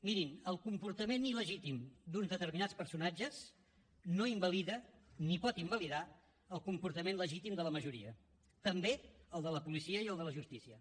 mirin el comportament il·legítim d’uns determinats personatges no invalida ni pot invalidar el comportament legítim de la majoria també el de la policia i el de la justícia